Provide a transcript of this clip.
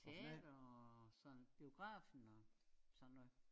Teater og sådan biografen og sådan noget